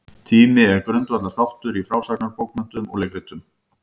Tími er grundvallarþáttur í frásagnarbókmenntum og leikritum.